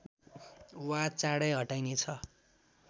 वा चाँडै हटाइनेछ